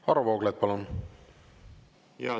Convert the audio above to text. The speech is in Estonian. Varro Vooglaid, palun!